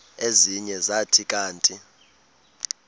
ezinye zathi kanti